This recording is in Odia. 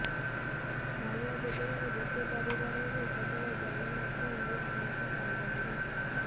କାଳିଆ ଯୋଜନାରେ ଗୋଟିଏ ପରିବାରରୁ କେବଳ ଜଣେ ମାତ୍ର ଏହି ସହାୟତା ପାଇପାରିବେ